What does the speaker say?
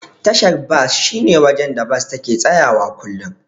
Tashar bas shine wajen da Bas take tsayawa kullum.